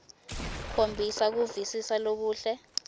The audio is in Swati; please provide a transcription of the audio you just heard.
khombisa kuvisisa lokuhle